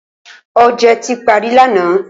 Oje ti pari lana